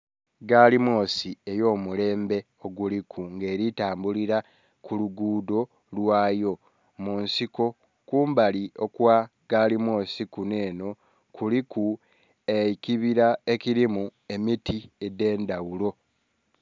Gaali mwosi ey'omulembe oguliku nga eli tambulila ku luguudho lwayo mu nsiko, kumbali okwa gaali mwosi kunh'enho kuliku ekibila ekilimu emiti edh'endhaghulo.